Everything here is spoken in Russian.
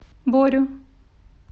борю